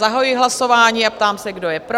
Zahajuji hlasování a ptám se, kdo je pro?